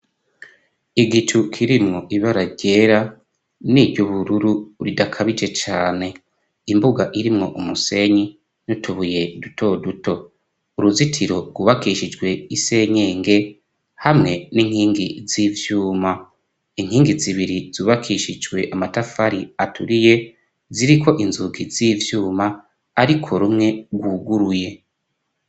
Igicu kirimwo ibararyera n'iryo ubururu ridakabije cane imbuga irimwo umusenyi nutubuye dutoduto uruzitiro rwubakishijwe isenyenge hamwe n'inkingi z'ivyuma inkingi zibiri zubakishijwe amatafari aturie ye ziriko inzuka zivyuma, ariko rumwe rwuguruye.